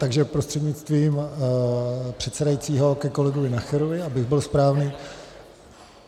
Takže prostřednictvím předsedajícího ke kolegovi Nacherovi, abych byl správný.